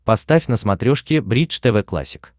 поставь на смотрешке бридж тв классик